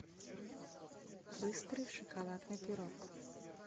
быстрый шоколадный пирог